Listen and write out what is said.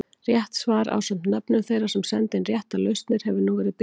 Rétt svar ásamt nöfnum þeirra sem sendu inn réttar lausnir hefur nú verið birt hér.